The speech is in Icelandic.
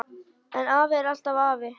En afi er alltaf afi.